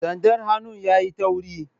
sandar hannun yayi tauri